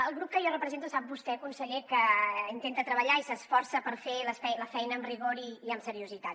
el grup que jo represento sap vostè conseller que intenta treballar i s’esforça per fer la feina amb rigor i amb seriositat